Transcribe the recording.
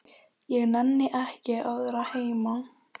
Ég nenni ekki að vera heima.